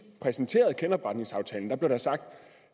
præsenterede genopretningsaftalen blev der sagt